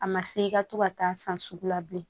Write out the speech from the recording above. A ma se i ka to ka taa san sugu la bilen